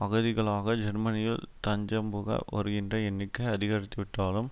அகதிகளாக ஜெர்மனியில் தஞ்சம்புக வருகின்ற எண்ணிக்கை அதிகரித்துவிட்டாலும்